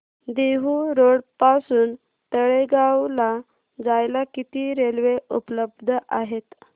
Dehu road पासून तळेगाव ला जायला किती रेल्वे उपलब्ध आहेत